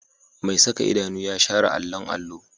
Mai saka idanu ya share allon allo